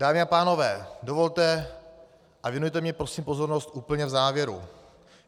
Dámy a pánové, dovolte, a věnujte mi prosím pozornost úplně v závěru.